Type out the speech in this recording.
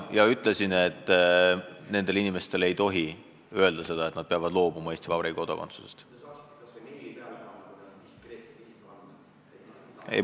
Ja ma ütlesin, et nendele inimestele ei tohi öelda, et nad peavad loobuma Eesti Vabariigi kodakondsusest.